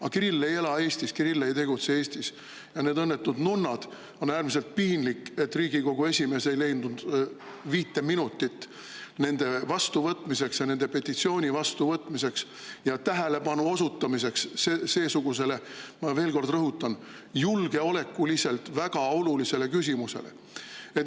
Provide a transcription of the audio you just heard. Aga Kirill ei ela Eestis, Kirill ei tegutse Eestis ja need õnnetud nunnad – on äärmiselt piinlik, et Riigikogu esimees ei leidnud viite minutitki nende vastuvõtmiseks ja nende petitsiooni vastuvõtmiseks ja tähelepanu osutamiseks seesugusele – ma veel kord rõhutan – julgeolekuliselt väga olulisele küsimusele.